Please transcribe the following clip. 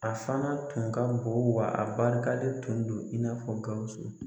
A fana tun ka bon wa a barikalen tun do in n'a fɔ Gawusu.